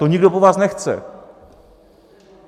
To nikdo po vás nechce!